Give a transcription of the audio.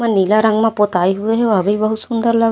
ओह नीला रंग म पोताई हुए हे वह भी बहुत सुन्दर लग --